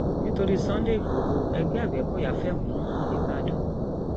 nítorí sunday igbodò ẹgbẹ agbẹkọyà fẹhónú hàn nìbàdàn